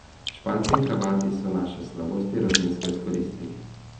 Španci in Hrvati so naše slabosti rutinsko izkoristili.